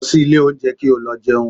Lọ sí ilé oúnjẹ kí o lọ jẹun